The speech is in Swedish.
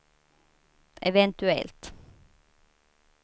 eventuellt